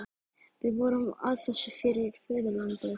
Við vorum að þessu fyrir föðurlandið.